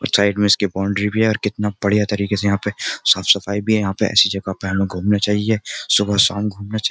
और साइड में इसकी बाउंड्री भी है और कितना बढ़िया तरीके से यहां पे साफ सफाई भी है यहां पे ऐसी जगह पर हमें घूमना चाहिए सुबह शाम घूमना चाहिए।